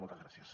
moltes gràcies